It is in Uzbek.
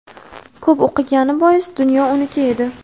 "Ko‘p o‘qigani bois dunyo uniki edi.".